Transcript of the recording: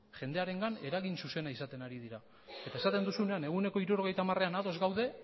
jendearengan eragin zuzena izaten ari dira eta esaten duzunean ehuneko hirurogeita hamarean ados gaude